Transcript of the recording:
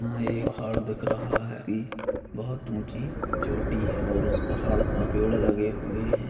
यहाँ एक पहाड़ दिख रहा है कि बहुत ऊँची चोटी है और उस पहाड़ पर पेड़ लगे हुए हैं।